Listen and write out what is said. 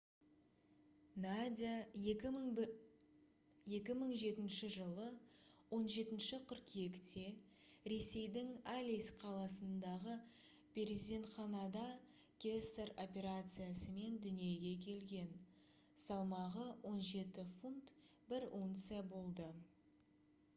надя 2007 жылы 17 қыркүйекте ресейдің алейск қаласындағы перзентханада кесар операциясымен дүниеге келген салмағы 17 фунт 1 унция болды